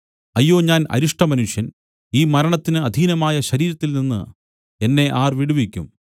അയ്യോ ഞാൻ അരിഷ്ടമനുഷ്യൻ ഈ മരണത്തിന് അധീനമായ ശരീരത്തിൽനിന്ന് എന്നെ ആർ വിടുവിക്കും